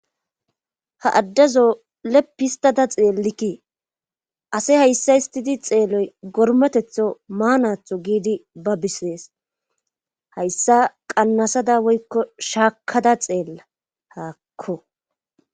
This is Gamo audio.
ha addazo lephistada xeellikkii ase hayssa istidi xeeloy gormetetho maanatho giidi ba bisees hayssa qannasada woykko shaakada xeella haakko